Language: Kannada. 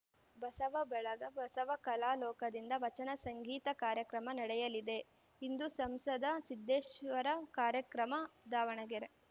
ಬಸವ ಬಳಗ ಬಸವ ಕಲಾಲೋಕದಿಂದ ವಚನ ಸಂಗೀತ ಕಾರ್ಯಕ್ರಮ ನಡೆಯಲಿದೆ ಇಂದು ಸಂಸದ ಸಿದ್ದೇಶ್ವರ ಕಾರ್ಯಕ್ರಮ ದಾವಣಗೆರೆ